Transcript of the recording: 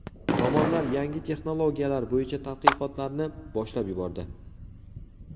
Tomonlar yangi texnologiyalar bo‘yicha tadqiqotlarni boshlab yubordi.